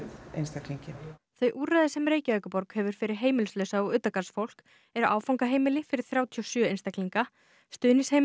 þau úrræði sem Reykjavíkurborg hefur fyrir heimilislausa og utangarðsfólk eru áfangaheimili fyrir þrjátíu og sjö einstaklinga stuðningsheimili fyrir átta karlmenn